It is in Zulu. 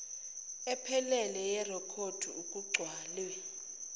ephelele yerekhodi okucelwe